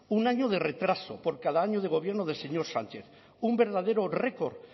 un año de retraso por cada año de gobierno del señor sánchez un verdadero record